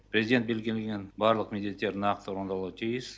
президент белгілеген барлық міндеттер нақты орындалуы тиіс